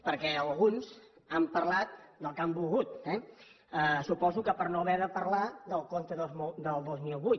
perquè alguns han parlat del que han volgut eh suposo que per no haver de parlar del compte del dos mil vuit